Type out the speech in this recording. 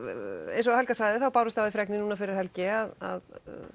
eins og Helga sagði þá bárust af því fregnir núna fyrir helgi að